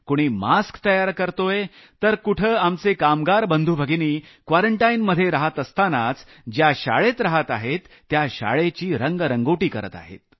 कुणी मास्क तयार करत आहे तर कुठं आमचे कामगार बंधुभगिनी क्वारंटाईनमध्ये रहात असतानाच ज्या शाळेत रहात आहेत त्या शाळेची रंगरंगोटी करत आहेत